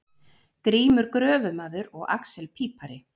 Grímur gröfumaður og axel pípari.